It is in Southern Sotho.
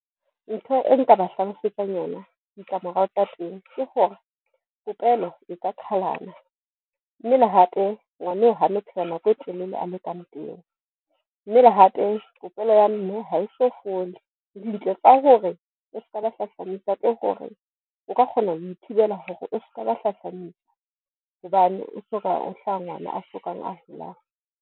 Ntho e nka ba hlalosetsang yona ditlamorao tsa teng ke hore popelo e ka qalana mme le hape ngwaneo hano phela nako e telele a le ka mpeng, mme le hape popelo ya mme ha e so fole. Ka hore o skaba hlahlamisa tlo hore o ka kgona ho ithibela hore o skaba hlahlamisa hobane o soka, o hlaha ngwana a sokang a holang.